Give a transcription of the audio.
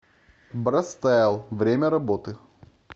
брастайл время работы